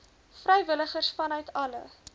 vrywilligers vanuit alle